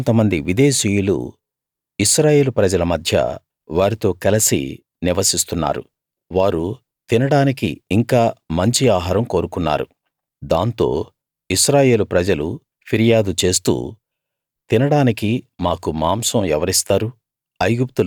కొంతమంది విదేశీయులు ఇశ్రాయేలు ప్రజల మధ్య వారితో కలసి నివసిస్తున్నారు వారు తినడానికి ఇంకా మంచి ఆహారం కోరుకున్నారు దాంతో ఇశ్రాయేలు ప్రజలు ఫిర్యాదు చేస్తూ తినడానికి మాకు మాంసం ఎవరిస్తారు